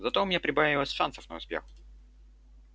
зато у меня прибавилось шансов на успех